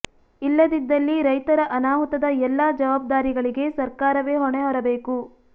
ಇಲ್ಲದಿದ್ದಲ್ಲಿ ರೈತ ರ ಅನಾಹುತದ ಎಲ್ಲಾ ಜವಾಬ್ದಾರಿ ಗಳಿಗೆ ಸರ್ಕಾರವೇ ಹೊಣೆ ಹೊರ ಬೇಕು